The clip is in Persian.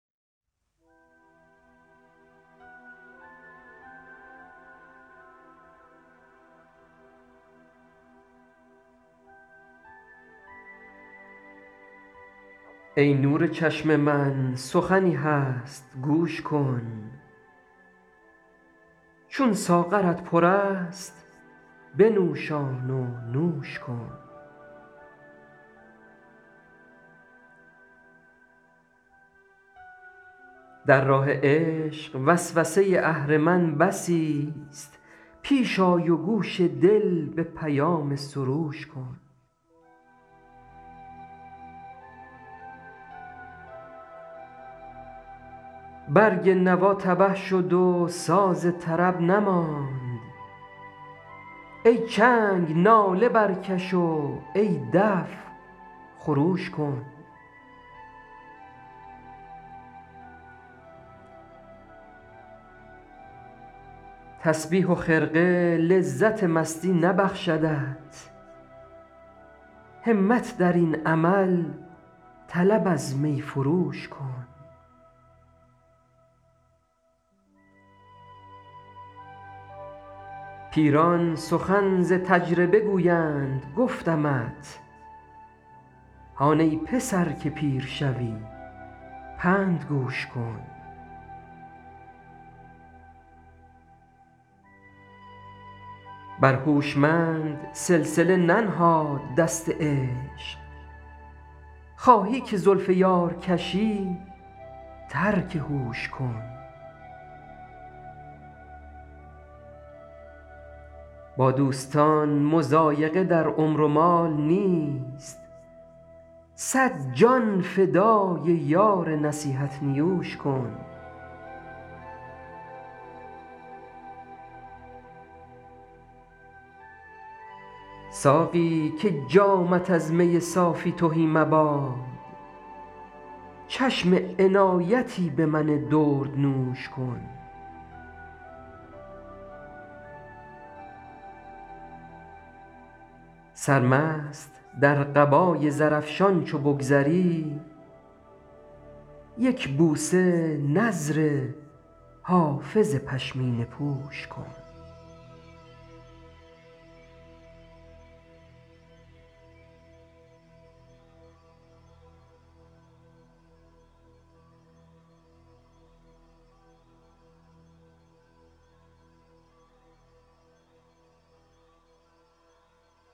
ای نور چشم من سخنی هست گوش کن چون ساغرت پر است بنوشان و نوش کن در راه عشق وسوسه اهرمن بسیست پیش آی و گوش دل به پیام سروش کن برگ نوا تبه شد و ساز طرب نماند ای چنگ ناله برکش و ای دف خروش کن تسبیح و خرقه لذت مستی نبخشدت همت در این عمل طلب از می فروش کن پیران سخن ز تجربه گویند گفتمت هان ای پسر که پیر شوی پند گوش کن بر هوشمند سلسله ننهاد دست عشق خواهی که زلف یار کشی ترک هوش کن با دوستان مضایقه در عمر و مال نیست صد جان فدای یار نصیحت نیوش کن ساقی که جامت از می صافی تهی مباد چشم عنایتی به من دردنوش کن سرمست در قبای زرافشان چو بگذری یک بوسه نذر حافظ پشمینه پوش کن